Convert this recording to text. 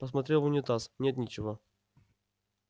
посмотрел в унитаз нет ничего